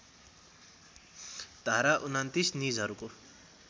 धारा २९ निजहरूको